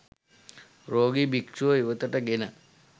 රෝගී භික්ෂුව ඉවතට ගෙන